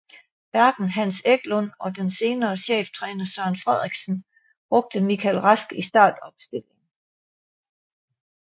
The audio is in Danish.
Hverken Hans Eklund og den senere cheftræner Søren Frederiksen brugte Mikkel Rask i startopstillingen